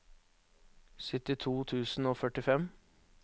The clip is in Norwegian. syttito tusen og førtifem